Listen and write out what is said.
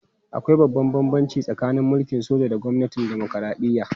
Akwai babban bambanci tsakanin mulkin soja da gwamnatin dimokuradiyya